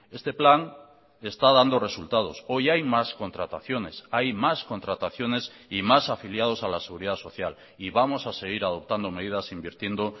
este plan está dando resultados hoy hay más contrataciones hay más contrataciones y más afiliados a la seguridad social y vamos a seguir adoptando medidas invirtiendo